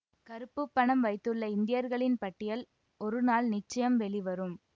கருப்பு பணம் வைத்துள்ள இந்தியர்களின் பட்டியல் ஒருநாள் நிச்சயம் வெளிவரும்